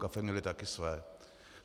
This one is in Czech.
Kafe měli taky své.